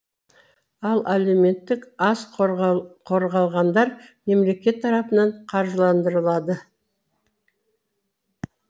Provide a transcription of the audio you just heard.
ал әлеуметтік аз қорғалғандар мемлекет тарапынан қаржыландырылады